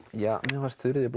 mér fannst Þuríður